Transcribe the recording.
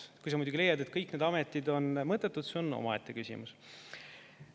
Kui sa muidugi leiad, et kõik need ametid on mõttetud, see on omaette küsimus.